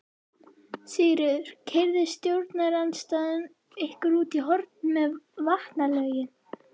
Sigríður: Keyrði stjórnarandstaðan ykkur út í horn með vatnalögin?